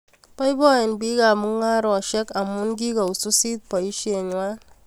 Bpiboen bik ab mungaresiek amu kikowisisit boishei ngwa